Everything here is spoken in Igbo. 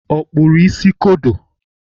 Ọ kpụrụ isi kodo?